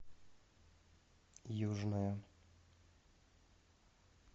южная